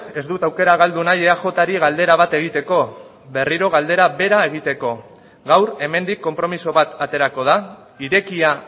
ez dut aukera galdu nahi eajri galdera bat egiteko berriro galdera bera egiteko gaur hemendik konpromiso bat aterako da irekia